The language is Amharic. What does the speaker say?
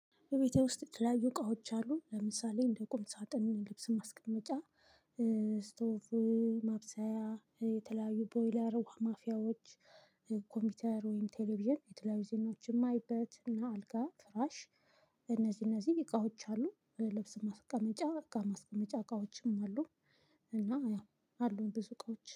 በቤቴ ውስጥ የተለያዩ እቃዎች አሉ። ለምሳሌ እንደ ቁም ሳጥን፣ ልብስን ማስቀመጫ፣ ስቶፍ ማብሰያ፣ የተለያዩ ቦይለር ውሃ ማፍያዎች ኮምፒውተር ወይም ቴሌቪዥን የተለያዩ ዜናዎችን ማይበት እና አልጋ፣ ፍራሽ እነዚህ እነዚህ እቃዎች አሉ። ልብስ ማስቀመጫ እቃ ማስቀመጫ እቃዎችም አሉ። እና ያው አሉን ብዙ እቃዎች።